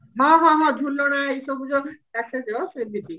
ହଁ ହଁ ହଁ ଝୁଲଣ ଏଇସବୁ ଯୋଉ ସେମିତି